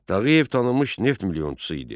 Tağıyev tanınmış neft milyonçusu idi.